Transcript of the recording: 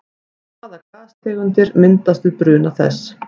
Hvaða gastegundir myndast við bruna þess?